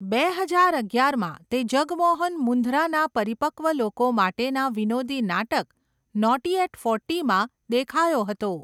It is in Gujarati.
બે હજાર અગિયારમાં, તે જગમોહન મુંધરાના પરિપકવ લોકો માટેના વિનોદી નાટક, નૉટી એટ ફોર્ટીમાં દેખાયો હતો.